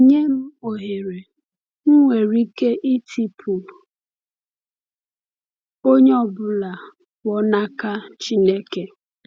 Nye m ohere, m nwere ike ịtụpụ onye ọ bụla pụọ n’aka Chineke.